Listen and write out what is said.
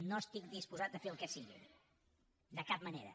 no estic disposat a fer el que sigui de cap manera